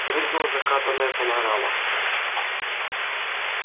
прыгнула закатная панорама